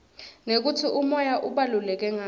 nekutsi umoya ubaluleke ngani